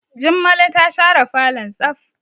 Jummalo ta share falon tsaf.